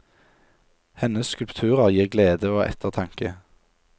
Hennes skulpturer gir glede og ettertanke.